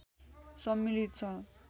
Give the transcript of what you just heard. सम्मिलित छ